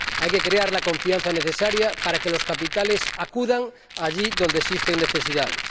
Hay que crear la confianza necesaria para que los capitales acudan allí donde existen necesidades.